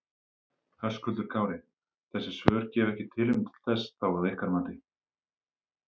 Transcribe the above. Höskuldur Kári: Þessi svör gefa ekki tilefni til þess þá að ykkar mati?